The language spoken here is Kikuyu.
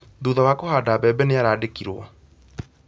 Thutha wa kũhanda mbebe nĩarandĩkirwo